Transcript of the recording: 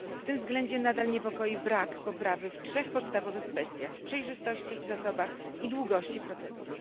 W tym względzie nadal niepokoi brak poprawy w trzech podstawowych kwestiach przejrzystości, zasobach i długości procedur.